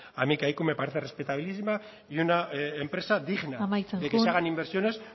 a mí kaiku me parece respetabilísima y una empresa digna amaitzen joan de que se hagan inversiones